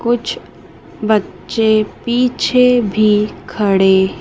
कुछ बच्चे पीछे भी खड़े--